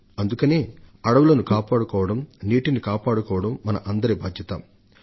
అందుకనే అడవులను కాపాడుకోవడం జలాలను పరిరక్షించుకోవడం మన అందరి విధ్యుక్త ధర్మంగా మారిపోయింది